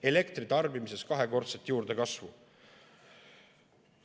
Elektritarbimises kahekordset juurdekasvu!